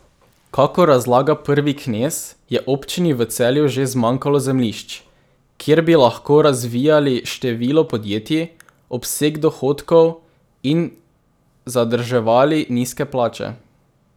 Kakor razlaga prvi knez, je občini v Celju že zmanjkalo zemljišč, kjer bi lahko razvijali število podjetij, obseg dohodkov in zadrževali nizke plače.